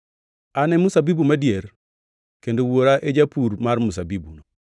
“An e mzabibu madier, kendo Wuora e japur mar mzabibuno.